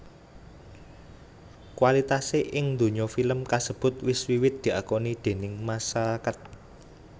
Kualitasé ing donya film kasebut wis wiwit diakoni déning masarakat